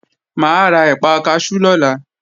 Mà á ra ẹ̀pà kaṣú lọ́la